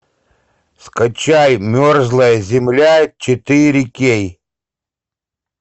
скачай мерзлая земля четыре кей